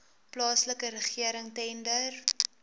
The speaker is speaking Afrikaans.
plaaslike regering tender